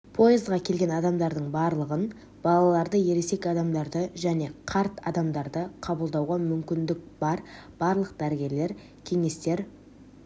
поездға келген адамдардың барлығын балаларды ересек адамдарды және қарт адамдарды қабылдауға мүмкіндік бар барлық дәрігерлер кеңестер